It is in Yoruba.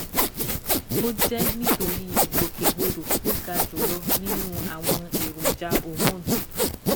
Ó jẹ́ nítorí ìgbòkègbodò tó ga jùlọ nínú àwọn èròjà hormone